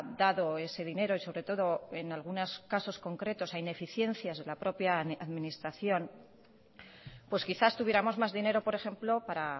dado ese dinero y sobre todo en algunos casos concretos a ineficiencias de la propia administración pues quizás tuviéramos más dinero por ejemplo para